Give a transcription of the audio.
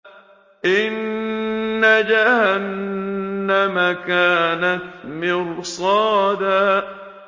إِنَّ جَهَنَّمَ كَانَتْ مِرْصَادًا